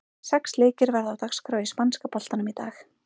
Sex leikir verða á dagskrá í spænska boltanum í dag.